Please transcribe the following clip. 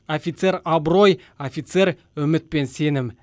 офицер абырой офицер үміт пен сенім